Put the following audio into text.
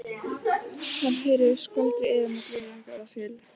Hann heyrir skvaldrið í þeim en greinir ekki orðaskil.